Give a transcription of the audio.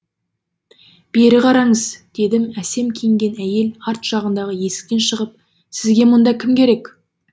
бері қараңыз деді әсем киінген әйел арт жағындағы есіктен шығып сізге мұнда кім керек